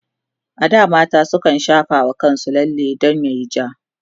a da mata sukan shafa wa kansu lalle dan yayi ja